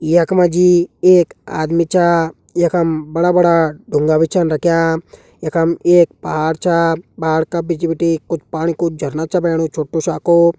यख मजी एक आदमी छ। यखम बड़ा-बड़ा ढूँगा बि छन रख्यां। यखम एक पहाड़ छ पहाड़ का बिच बटि कुछ पाणि कु झरना छ बहणुं छुट्टु सा को।